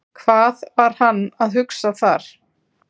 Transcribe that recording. Hvað var hann að hugsa þar?